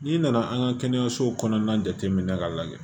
N'i nana an ka kɛnɛyasow kɔnɔna jate minɛ k'a lajɛ